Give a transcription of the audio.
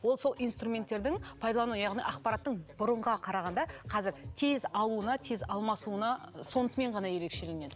ол сол инструменттердің пайдалану яғни ақпараттың бұрыңғыға қарағанда қазір тез аууына тез алмасуына сонысымен ғана ерекшеленеді